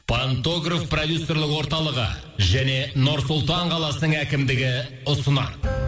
пантограф продюсерлік орталығы және нұр сұлтан қаласының әкімдігі ұсынады